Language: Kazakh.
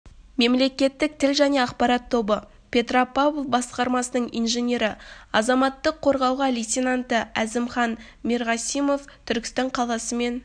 мемлекеттік тіл және ақпарат тобы петропавл басқармасының инженері азаматтық қорғауаға лейтенанты әзімхан мерғасимов түркістан қаласы мен